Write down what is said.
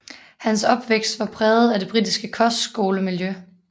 Hans opvækst var præget af det britiske kostskolemiljø